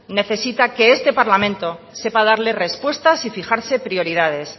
necesita que este parlamento sepa darle respuestas y fijarse prioridades